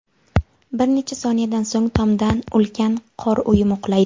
Bir necha soniyadan so‘ng tomdan ulkan qor uyumi qulaydi.